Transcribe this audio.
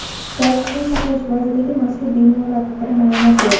Sog‘liqni saqlash vazirligi mazkur bemorlar haqida ma’lumot berdi .